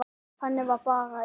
Þannig bara er það.